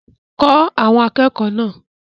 Kọ́ àwọn akẹ́kọ̀ọ́ náà!